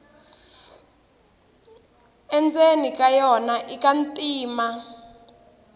endzeni ka yona ika ntima